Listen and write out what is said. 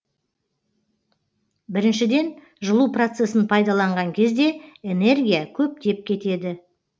біріншіден жылу процесін пайдаланған кезде энергия көптеп кетеді